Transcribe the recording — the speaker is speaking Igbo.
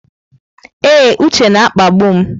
Ee, Uche na-akpagbu m.